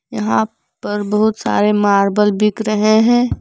यहां पर बहुत सारे मार्बल बिक रहे हैं।